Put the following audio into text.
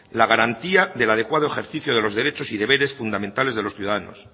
la garantía del adecuado ejercicio de los derechos y deberes fundamentales de los ciudadanos